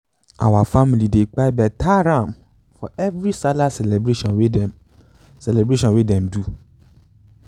our family dey kpai beta ram for every sallah celebration wey them celebration wey them do.